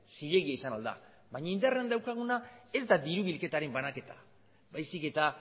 zilegi izan ahal da baina indarrean daukaguna ez da diru bilketaren banaketa baizik eta